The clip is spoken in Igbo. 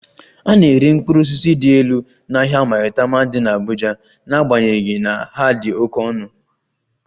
A na-ere mkpụrụ osisi dị elu n'ahịa Maitama dị n'Abuja n'agbanyeghị na ha dị oke ọnụ